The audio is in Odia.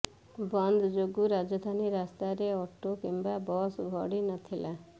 ବନ୍ଦ ଯୋଗୁଁ ରାଜଧାନୀ ରାସ୍ତାରେ ଅଟୋ କିମ୍ବା ବସ୍ ଗଡ଼ି ନଥିଲା